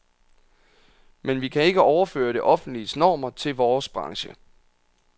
Men vi kan ikke overføre det offentliges normer til vores branche.